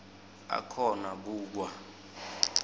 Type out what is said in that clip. akhona ku kwa